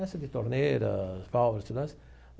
essa de torneira, válvulas, tudo mais.